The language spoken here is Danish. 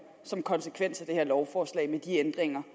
som konsekvens af det her lovforslag med de ændringer